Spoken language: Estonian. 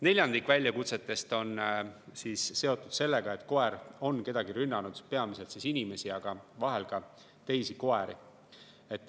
Neljandik väljakutsetest on seotud sellega, et koer on kedagi rünnanud, peamiselt inimesi, aga vahel ka teisi koeri.